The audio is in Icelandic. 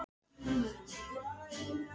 spurðum við eins og til að fylla í eyðuna.